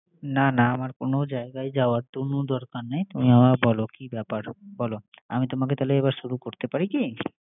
না না আমার কোন জায়গায় যাওয়ার কোন দরকার নাই। তুমি আমাকে বল, কি ব্যাপার, বল! আমি তোমাকে এবার শুরু করতে পারি কি